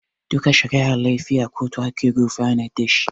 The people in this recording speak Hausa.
Duka shari'ar laifi a kotu ake gurfanar da shi